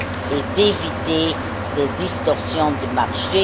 et d'éviter des distorsions de marché.